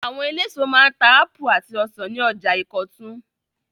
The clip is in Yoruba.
Àwọn eléso máa ń ta ápù àti ọsàn ní ọjà Ìkọ̀tún.